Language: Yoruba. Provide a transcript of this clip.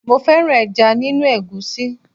Mo fẹ́ràn ẹja nínú egusi.